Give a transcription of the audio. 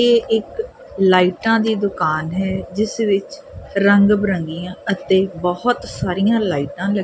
ਇਹ ਇੱਕ ਲਾਈਟਾਂ ਦੀ ਦੁਕਾਨ ਹੈ ਜਿਸ ਵਿੱਚ ਰੰਗ ਬਰੰਗੀਆਂ ਅਤੇ ਬਹੁਤ ਸਾਰੀਆਂ ਲਾਈਟਾਂ --